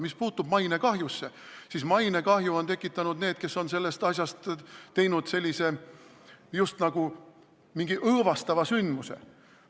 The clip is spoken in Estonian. Mis puutub mainekahjusse, siis mainekahju on tekitanud need, kes on sellest asjast teinud just nagu mingi õõvastava sündmuse.